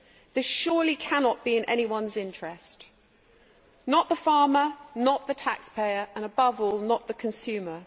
This surely cannot be in anyone's interest not the farmer, not the taxpayer and, above all, not the consumer.